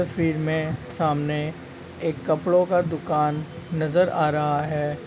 तस्वीर में सामने एक कपड़ो का दुकान नजर आ रहा है।